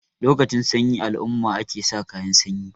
lokacin sanyi alumma ake sa kayan sanyi